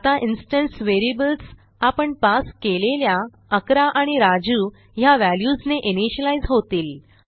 आता instance variables आपण pass केलेल्या 11 आणि राजू ह्या व्हॅल्यूजने इनिशियलाईज होतील